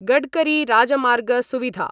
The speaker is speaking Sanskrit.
गडकरीराजमार्गसुविधा